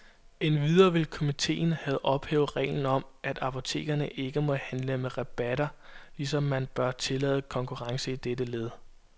Endvidere vil komitten have ophævet reglen om, at apotekerne ikke må handle med rabatter, ligesom man bør tillade konkurrence i dette led.